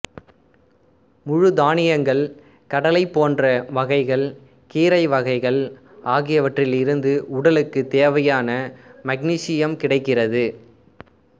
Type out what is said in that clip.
முழு தானியங்கள் கடலை போன்ற வகைகள் கீரை வகைகள் ஆகியவற்றிலிருந்து உடலுக்குத் தேவையான மக்னீசியம் கிடைக்கிறது